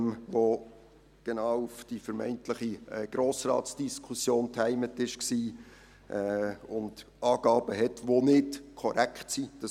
Dieser Artikel war genau auf die vermeintliche Grossratsdiskussion getimt und enthielt Angaben, die nicht korrekt sind.